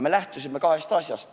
Me lähtusime kahest asjast.